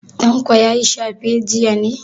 Tanko ya yi shafe jiya ne?